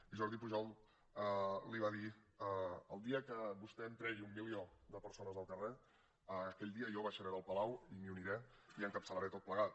i jordi pujol li va dir el dia que vostè em tregui un milió de persones al carrer aquell dia jo baixaré del palau i m’hi uniré i ho encapçalaré tot plegat